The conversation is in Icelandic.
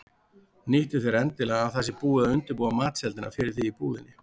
Nýttu þér endilega að það sé búið að undirbúa matseldina fyrir þig í búðinni.